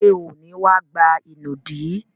Ṣé ò ní wá gba ìnùdí?